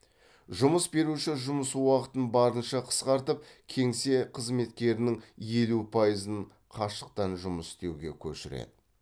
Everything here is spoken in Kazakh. жұмыс беруші жұмыс уақытын барынша қысқартып кеңсе қызметкерінің елу пайызын қашықтан жұмыс істеуге көшіреді